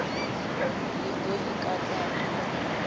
ḽi ḓo i kata a